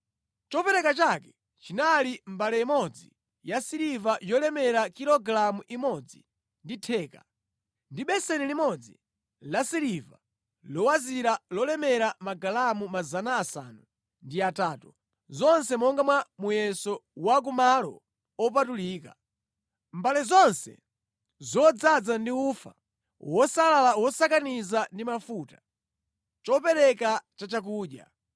Chopereka chake chinali mbale imodzi yasiliva yolemera kilogalamu imodzi ndi theka, ndi beseni limodzi lasiliva lowazira lolemera magalamu 800, zonse monga mwa muyeso wa ku malo opatulika, mbale zonse zodzaza ndi ufa wosalala wosakaniza ndi mafuta, chopereka cha chakudya;